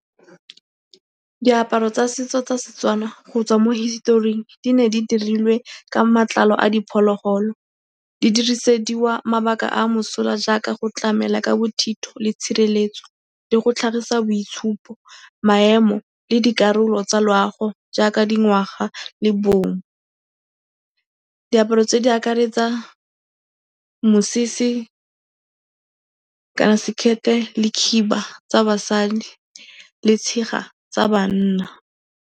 Diaparo tsa setso tsa Setswana go tswa mo historing, di ne di dirilwe ka matlalo a diphologolo. Di dirisediwa mabaka a mosola jaaka go tlamela ka bothitho le tshireletso le go tlhagisa boitshupo, maemo le dikarolo tsa loago jaaka dingwaga le bong. Diaparo tse di akaretsa mosese, sekete le khiba tsa basadi le tshega tsa banna.